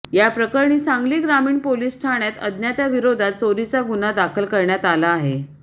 याप्रकरणी सांगली ग्रामीण पोलिस ठाण्यात अज्ञाताविरोधात चोरीचा गुन्हा दाखल करण्यात आला आहे